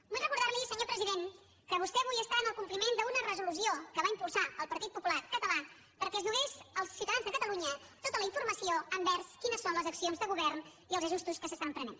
vull recordar li senyor president que vostè avui està en el compliment d’una resolució que va impulsar el partit popular català perquè es donés als ciutadans de catalunya tota la informació envers quines són les accions de govern i els ajustos que es prenen